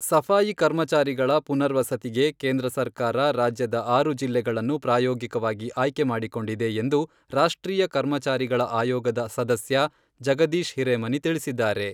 ಸಫಾಯಿ ಕರ್ಮಚಾರಿಗಳ ಪುನರ್ವಸತಿಗೆ ಕೇಂದ್ರ ಸರ್ಕಾರ ರಾಜ್ಯದ ಆರು ಜಿಲ್ಲೆಗಳನ್ನು ಪ್ರಾಯೋಗಿಕವಾಗಿ ಆಯ್ಕೆ ಮಾಡಿಕೊಂಡಿದೆ ಎಂದು ರಾಷ್ಟ್ರೀಯ ಕರ್ಮಚಾರಿಗಳ ಆಯೋಗದ ಸದಸ್ಯ ಜಗದೀಶ್ ಹಿರೇಮನಿ ತಿಳಿಸಿದ್ದಾರೆ.